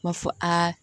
Ma fɔ aa